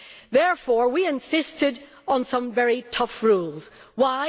Therefore we insisted on some very tough rules. Why?